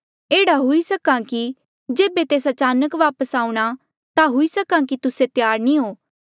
एह्ड़ा हुई सक्हा कि जेबे तेस अचानक आऊंणा ता हुई सक्हा कि तुस्से त्यार नी हो